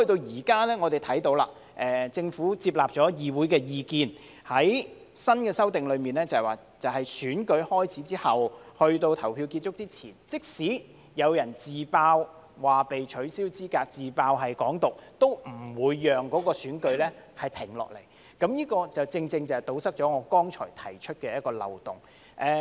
現在我們看到，政府接納議會的意見，在新的修正案中訂明在選舉開始後，在投票結束之前，即使有人因"自爆"被取消資格——"自爆"是"港獨"——都不會令選舉停下來，這正正堵塞了我剛才指出的漏洞。